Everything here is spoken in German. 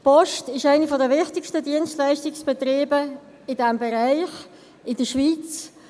Die Post ist einer der wichtigsten Dienstleistungsbetriebe in diesem Bereich in der Schweiz.